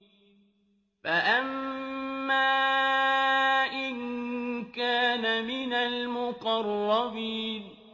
فَأَمَّا إِن كَانَ مِنَ الْمُقَرَّبِينَ